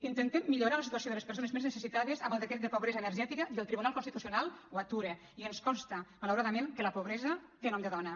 intentem millorar la situació de les persones més necessitades amb el decret de pobresa energètica i el tribunal constitucional ho atura i ens consta malauradament que la pobresa té nom de dona